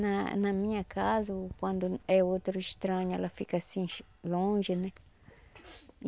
Na na minha casa, ou quando é outro estranho, ela fica assim, longe, né?